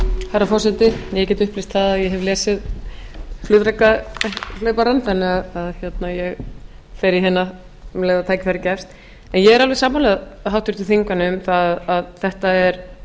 herra forseti ég get upplýst að ég hef lesið flugdrekahlauparann þannig að ég fer í hina um leið og tækifæri gefst ég er alveg sammála háttvirtum þingmanni um að þetta er